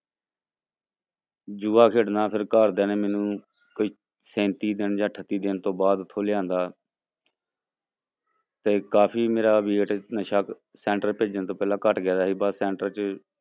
ਜੂਆ ਖੇਡਣਾ ਫਿਰ ਘਰਦਿਆਂ ਨੇ ਮੈਨੂੰ ਕੋਈ ਸੈਂਤੀ ਦਿਨ ਜਾਂ ਅਠੱਤੀ ਦਿਨ ਤੋਂ ਬਾਅਦ ਉੱਥੋਂ ਲਿਆਂਦਾ ਤੇ ਕਾਫ਼ੀ ਮੇਰਾ ਨਸ਼ਾ center ਭੇਜਣ ਤੋਂ ਪਹਿਲਾਂ ਘੱਟ ਗਿਆ ਸੀ ਬਾਅਦ ਚ center ਚ